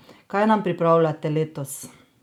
Kaj nam pripravljate letos?